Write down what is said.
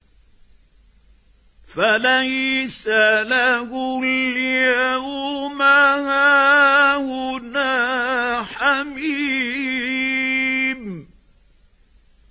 فَلَيْسَ لَهُ الْيَوْمَ هَاهُنَا حَمِيمٌ